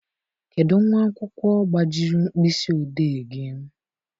Kedụ nwa akwụkwọ gbajiri mkpịsị odee gị?